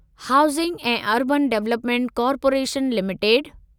housing ऐं urban development corporation limited